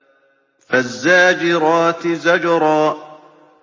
فَالزَّاجِرَاتِ زَجْرًا